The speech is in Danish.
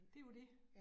Det jo det